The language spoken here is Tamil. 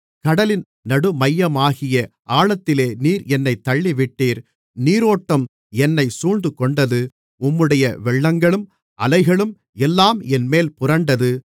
கடலின் நடுமையமாகிய ஆழத்திலே நீர் என்னைத் தள்ளிவிட்டீர் நீரோட்டம் என்னைச் சூழ்ந்துகொண்டது உம்முடைய வெள்ளங்களும் அலைகளும் எல்லாம் என்மேல் புரண்டது